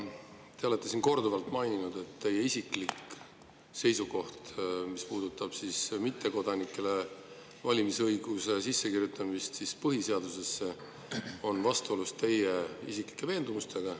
Te olete siin korduvalt maininud, et mis puudutab mittekodanike valimisõiguse sissekirjutamist põhiseadusesse, siis see on vastuolus teie isiklike veendumustega.